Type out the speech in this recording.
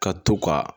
Ka to ka